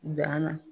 Dan na